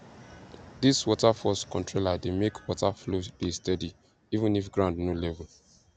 these water force controller dey make water flow dey steady even if ground no level